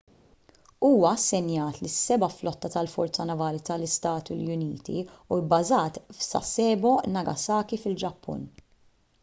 huwa assenjat lis-seba' flotta tal-forza navali tal-istati uniti u bbażat f'sasebo nagasaki fil-ġappun